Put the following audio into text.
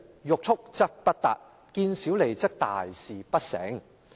欲速則不達；見小利則大事不成。